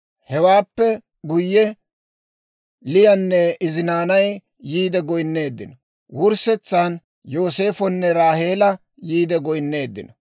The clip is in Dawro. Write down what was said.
Hewaappe guyye, Liyanne izi naanay yiide goynneeddinno; wurssetsaan Yooseefonne Raaheela yiide goynneeddinno.